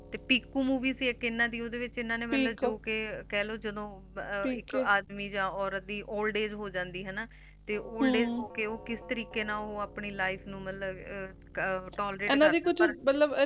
Piku ਨੂੰ ਵੀ ਇਹਨਾਂ ਦੀ ਓਹਦੇ ਵਿੱਚ ਇਹਨਾਂ ਦੀ ਕਹਿਲੋ ਜਦੋ ਆਦਮੀ ਜਾ ਔਰਤ ਦੀ Old age ਹੋਜਾਂਦੀ ਹੈਨਾ ਤੇ Old Age ਹੋਕੇ ਓਹ ਕਿਸ ਤਰੀਕੇ ਨਾਲ ਓਹ ਆਪਣੀ Life ਨੂ ਮਤਲਭ Tolerate